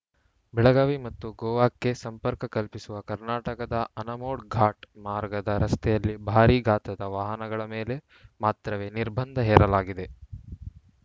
ಬೆಳಗಾವಿ ಮತ್ತು ಗೋವಾಕ್ಕೆ ಸಂಪರ್ಕ ಕಲ್ಪಿಸುವ ಕರ್ನಾಟಕದ ಅನಮೋಡ್‌ ಘಾಟ್‌ ಮಾರ್ಗದ ರಸ್ತೆಯಲ್ಲಿ ಭಾರೀ ಗಾತ್ರದ ವಾಹನಗಳ ಮೇಲೆ ಮಾತ್ರವೇ ನಿರ್ಬಂಧ ಹೇರಲಾಗಿದೆ